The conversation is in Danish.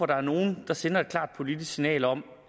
der er nogen der sender et klart politisk signal om